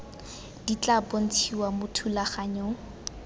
di tla bontshiwa mo thulaganyong